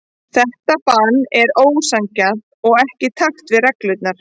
Þetta bann er ósanngjarnt og ekki í takt við reglurnar.